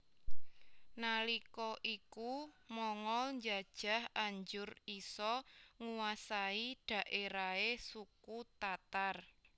Nalika iku Mongol njajah anjur isa nguwasai dhaerahe suku Tatar